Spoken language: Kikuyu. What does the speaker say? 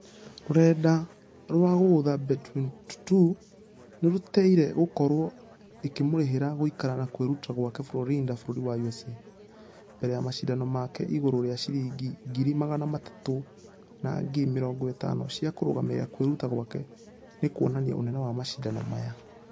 Na rũrenda rwa guotha bet22 nĩruteire gũkorwo ĩkĩmũrehera gũikara na kwĩruta gwake florida bũrũri wa usa. Mbere ya mashidano make igũrũ rĩa shiringi ngiri magana matatũ na ngiri mĩrongo ĩtano cia kũrũgamĩrĩra kwĩruta gwake nĩkuonania ũnene wa mashidano maya.